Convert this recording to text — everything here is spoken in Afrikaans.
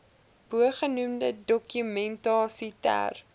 bogenoemde dokumentasie ter